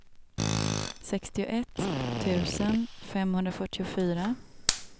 sextioett tusen femhundrafyrtiofyra